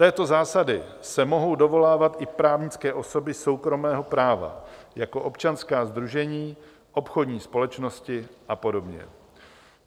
Této zásady se mohou dovolávat i právnické osoby soukromého práva jako občanská sdružení, obchodní společnosti a podobně.